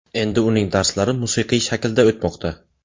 Endi uning darslari musiqiy shaklda o‘tmoqda.